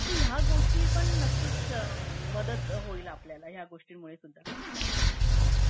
तर ह्या गोष्टी पण नक्कीच मदत होईल आपल्याला ह्या गोष्टींमुळे